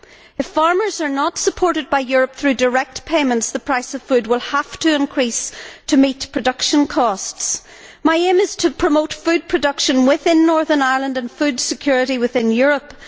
If farmers are not supported by Europe through direct payments, the price of food will have to increase to meet production costs. My aim is to promote food production within Northern Ireland and food security within Europe.